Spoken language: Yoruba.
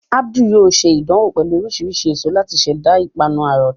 Abdul yóò ṣe ìdánwò pẹ̀lú oríṣiríṣi èso láti ṣẹ̀dá ìpanu àrà ọ̀tọ̀.